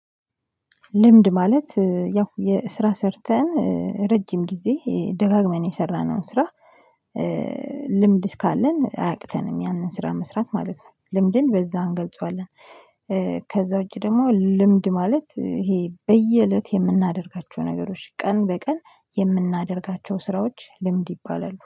ልምድ ማለት ያው ስራ ሰርተን ረጅም ጊዜ ደጋግመን የሰራነውን ስራ። ልምድ ካለን አያቅተንም ያንን ስራ መስራት ማለት ነው ልምድን በዛ እንገልጸዋለን። ከዛ ውጭ ደግሞ ልምድ ማለት ይሄ በየእለት የምናደርጋቸው ነገሮች ቀን በቀን የምናደርጋቸው ስራዎች ልምድ ይባላሉ